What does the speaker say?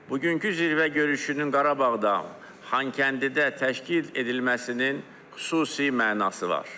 Bugünkü zirvə görüşünün Qarabağda, Xankəndidə təşkil edilməsinin xüsusi mənası var.